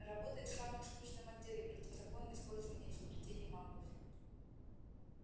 работает в самом скучном отделе противозаконное использование изобретений маглов